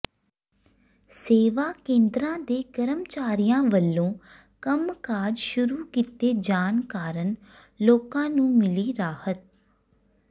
ਸੇਵਾ ਕੇਂਦਰਾਂ ਦੇ ਕਰਮਚਾਰੀਆਂ ਵਲੋਂ ਕੰਮਕਾਜ ਸ਼ੁਰੂ ਕੀਤੇ ਜਾਣ ਕਾਰਨ ਲੋਕਾਂ ਨੂੰ ਮਿਲੀ ਰਾਹਤ